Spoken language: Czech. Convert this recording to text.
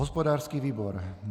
Hospodářský výbor.